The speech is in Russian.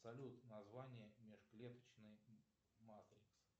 салют название межклеточной матрицы